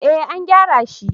eh an gyara shi